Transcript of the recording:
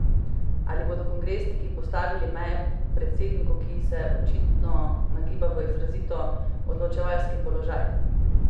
Ali bodo kongresniki postavili meje predsedniku, ki se očitno nagiba v izrazito odločevalski položaj?